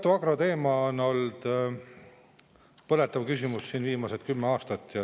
Tartu Agro teema on olnud põletav küsimus viimased kümme aastat.